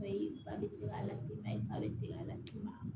Bayi ba bɛ se k'a las'i ma ba bɛ se k'a las'i ma